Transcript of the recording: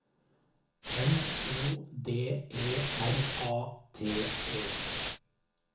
M O D E R A T E